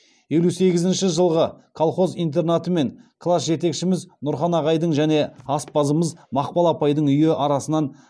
елу сегізінші жылғы колхоз интернаты мен класс жетекшіміз нұрхан ағайдың және аспазымыз мақпал апайдың үйі арасынан